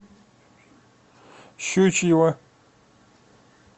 щучьего